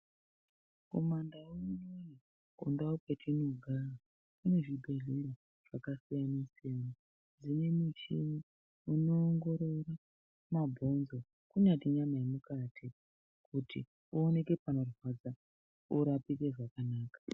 Kundau dzatinogara kune zvibhedhleya zvakasiyana siyana zvine muchina inowongorora mabhonzo, kunyange nenyama yemukati ,kuti pawoneke panorwadza porapike zvakanaka.